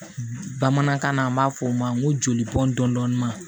Bamanankan na an b'a fɔ o ma n ko joli bɔn dɔn ma